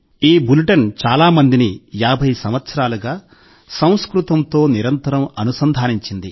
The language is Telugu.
ఈ బులెటిన్ చాలా మందిని 50 సంవత్సరాలుగా సంస్కృతంతో నిరంతరం అనుసంధానించింది